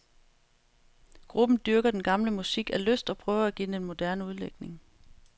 Gruppen dyrker den gamle musik af lyst og prøver at give den en moderne udlægning.